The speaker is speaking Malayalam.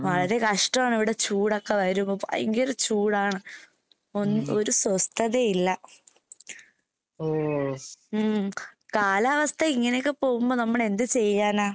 വളരെ കഷ്ടവാണിവടെ ചൂടൊക്കെ വരുമ്പോ ഭയങ്കര ചൂടാണ്. ഒന്ന് ഒരു സ്വസ്ഥതേം ഇല്ല. ഉം കാലാവസ്ഥ ഇങ്ങനെയൊക്കെ പോകുമ്പോ നമ്മളെന്ത് ചെയ്യാനാ?